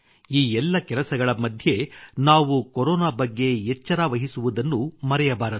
ಈ ಎಲ್ಲ ಕೆಲಸಗಳ ಮಧ್ಯೆ ನಾವು ಕೊರೊನಾ ಬಗ್ಗೆ ಎಚ್ಚರವಹಿಸುವುದನ್ನು ಮರೆಯಬಾರದು